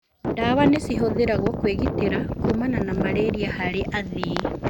ndawa nĩcihũthĩragwo kwĩgitĩra kumana na malaria harĩ athii.